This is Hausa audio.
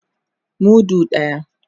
Mudu daya.